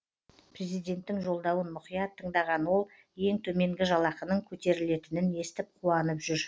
президенттің жолдауын мұқият тыңдаған ол ең төменгі жалақының көтерілетінін естіп қуанып жүр